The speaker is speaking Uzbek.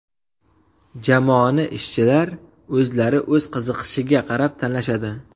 Jamoani ishchilar o‘zlari o‘z qiziqishiga qarab tanlashadi.